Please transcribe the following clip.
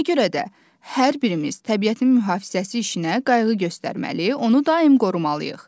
Ona görə də hər birimiz təbiətin mühafizəsi işinə qayğı göstərməli, onu daim qorumalıyıq.